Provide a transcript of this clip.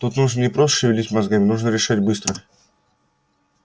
тут нужно не просто шевелить мозгами нужно решать быстро